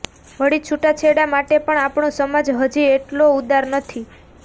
વળી છૂટાછેડા માટે પણ આપણો સમાજ હજી એટલો ઉદાર નથી